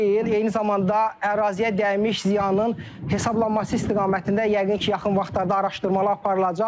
Eyni zamanda əraziyə dəymiş ziyanın hesablanması istiqamətində yəqin ki, yaxın vaxtlarda araşdırmalar aparılacaq.